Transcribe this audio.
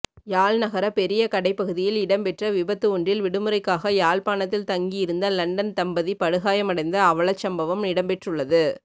யாழ்நகர பெரிய கடைப்பகுதியில் இடம்பெற்ற விபத்து ஒன்றில் விடுமுறைக்காக யாழ்ப்பாணத்தில் தங்கியிருந்த லண்டன் தம்பதி படுகாயமடைந்த அவலச்சம்பவம் இடம்பெற்றுள்ளது